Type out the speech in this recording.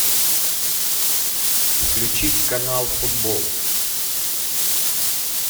включить канал футбол